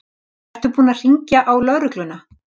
Ertu búin að hringja á lögregluna?